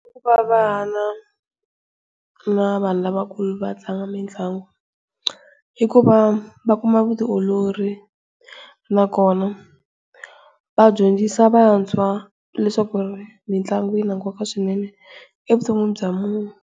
I ku va vana na vanhu lavakulu va tlanga mitlangu, I ku va va kuma vutiolori nakona vadyondzisa vantshwa leswaku mitlangu yi na nkoka swinene evuton'wini bya munhu.